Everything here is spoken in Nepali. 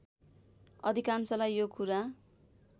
अधिकांशलाई यो कुरा